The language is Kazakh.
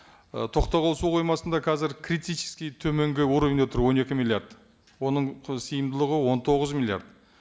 і тоқтағұл су қоймасында қазір критический төменгі уровеньде тұр он екі миллиард оның сиымдылығы он тоғыз миллиард